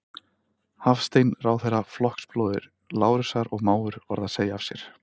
Hafstein, ráðherra, flokksbróðir Lárusar og mágur, varð að segja af sér.